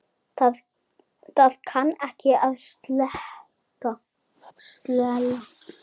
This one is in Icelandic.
Það kann ekki að stela.